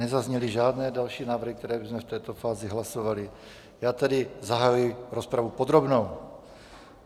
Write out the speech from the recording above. Nezazněly žádné další návrhy, které bychom v této fázi hlasovali, já tedy zahajuji rozpravu podrobnou.